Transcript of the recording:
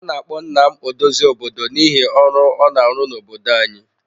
A na-akpọ nna m odozi obodo n'ihi ọrụ ọ na-arụ n'obodo anyị.